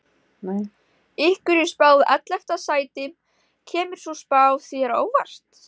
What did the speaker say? Ykkur er spáð ellefta sæti, kemur sú spá þér á óvart?